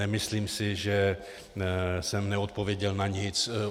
Nemyslím si, že jsem neodpověděl na nic.